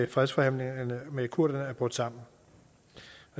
fredsforhandlingerne med kurderne er brudt sammen